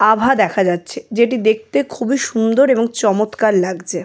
আভা দেখা যাচ্ছে যেটি দেখতে খুবই সুন্দর এবং চমৎকার লাগজে।